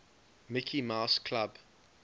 mickey mouse club